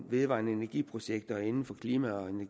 vedvarende energi projekter inden for klima og